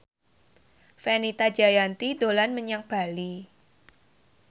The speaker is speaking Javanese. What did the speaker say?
Fenita Jayanti dolan menyang Bali